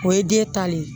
O ye den ta le ye